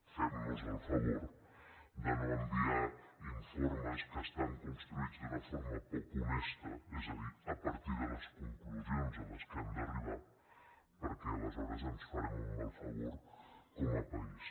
fem nos el favor de no enviar informes que estan construïts d’una forma poc honesta és a dir a partir de les conclusions a què han d’arribar perquè aleshores ens farem un mal favor com a país